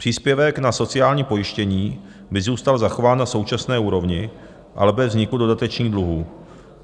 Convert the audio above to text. Příspěvek na sociální pojištění by zůstal zachován na současné úrovni, ale bez vzniku dodatečných dluhů.